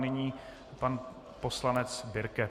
Nyní pan poslanec Birke.